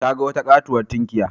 Ta ga wata katuwar tunkiya.